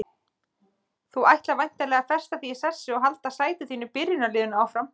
Þú ætlar væntanlega að festa þig í sessi og halda sæti þínu í byrjunarliðinu áfram?